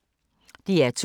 DR2